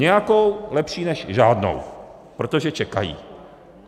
Nějakou, lepší než žádnou, protože čekají.